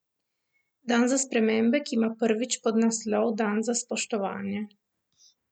Dan za spremembe, ki ima prvič podnaslov dan za spoštovanje.